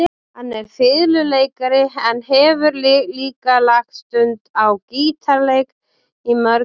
Hann er fiðluleikari en hefur líka lagt stund á gítarleik í mörg ár.